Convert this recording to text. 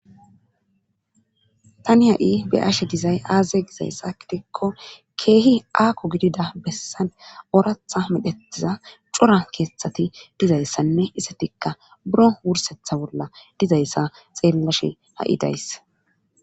Tani ha'i be ashe dizay aaze gizayssa gidikko keehi aakko gidida bessa ooratha medhetiza cora keeththati dizayssanne isetikka buro wursetha bolla dizayssa xeellashe ha'i dayss.